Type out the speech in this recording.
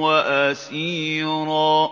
وَأَسِيرًا